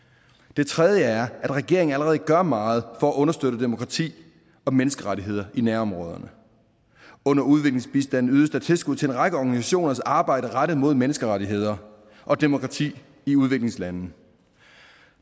det tredje er at regeringen allerede gør meget for at understøtte demokrati og menneskerettigheder i nærområderne under udviklingsbistanden ydes der tilskud til en række organisationers arbejde rettet mod menneskerettigheder og demokrati i udviklingslande